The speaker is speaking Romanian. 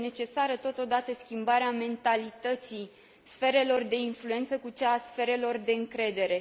Este necesară, totodată, schimbarea mentalității sferelor de influență cu cea a sferelor de încredere.